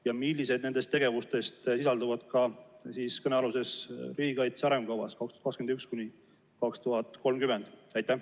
Ja millised nendest tegevustest sisalduvad kõnealuses riigikaitse arengukavas 2021–2030?